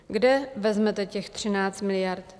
Kde vezmete těch 13 miliard?